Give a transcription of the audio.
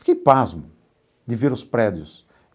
Fiquei pasmo de ver os prédios.